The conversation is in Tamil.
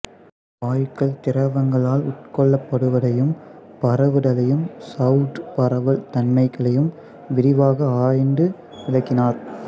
வாயுக்கள் திரவங்களால் உட்கொள்ளப்படுவதையும் பரவுதலையும் சவ்வூடு பரவல் தன்மைகளையும் விரிவாக ஆய்ந்து விளக்கினார்